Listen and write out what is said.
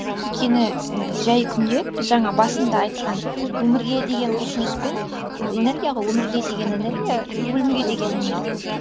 өйткені ііі жай күнде біз жаңа басында айтқан өмірге деген құлшыныспен ол энергия ғой өмірге деген энергия и өлімге деген знергия